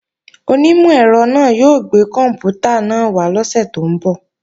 Onímọ̀ ẹ̀rọ náà yóò gbé kòǹpútà náà wá lọ́sè tó ń bọ̀